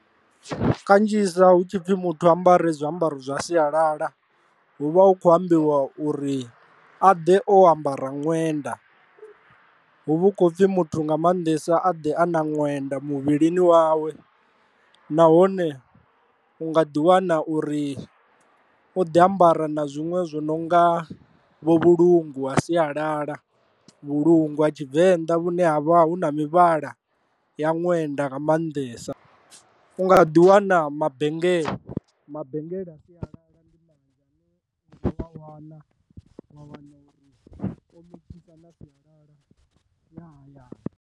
Kanzhisa hu tshi pfhi muthu ambara zwiambaro zwa sialala, hu vha hu khou ambiwa uri a ḓe o ambara ṅwenda hu vha hu khou pfhi muthu nga maanḓesa a ḓe a na ṅwenda muvhilini wawe, nahone u nga ḓi wana uri o ḓi ambara na zwinwe zwo no nga vho vhulungwa ha sialala, vhulungwa tshivenḓa vhune ha vha hu na mivhala ya ṅwenda nga maanḓesa u nga ḓi wana mabengele mabengele a sialala .